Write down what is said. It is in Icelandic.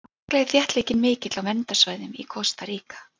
sérstaklega er þéttleikinn mikill á verndarsvæðum í kosta ríka